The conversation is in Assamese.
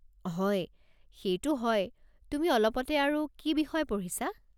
হয়, সেইটো হয়, তুমি অলপতে আৰু কি বিষয়ে পঢ়িছা?